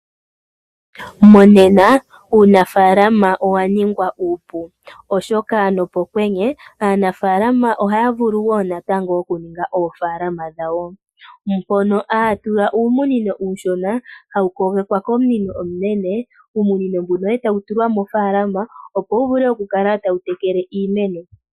Monena uunafaalama owaningwa uupu oshoka nopokwenye aanafaalama ohaya vulu wo natango okuninga oofaalama dhawo mpono haya tula uumunino uushona hawu kogekwa komunino omunene , uunino mbuno etawu tulwa mofaalama opo wuvule okukala tawu tekele iimeno.